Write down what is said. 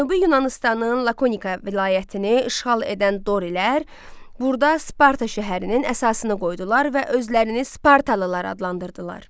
Cənubi Yunanıstanın Lakonika vilayətini işğal edən dorilər burda Sparta şəhərinin əsasını qoydular və özlərini Spartalılar adlandırdılar.